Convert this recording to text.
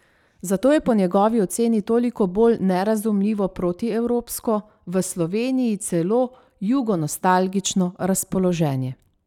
Zato je po njegovi oceni toliko bolj nerazumljivo protievropsko, v Sloveniji celo jugonostalgično razpoloženje.